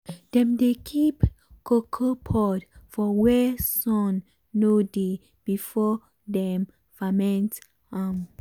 dem dey keep cocoa pod for where sun no dey before dem ferment am.